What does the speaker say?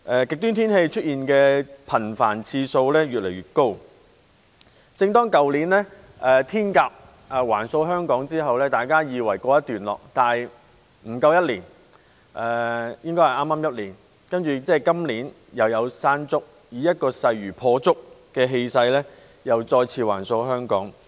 極端天氣出現的次數越來越頻繁，去年"天鴿"橫掃香港之後，大家以為告一段落，但不足一年——應該是剛好一年——今年又出現"山竹"，以勢如破竹的氣勢再次橫掃香港。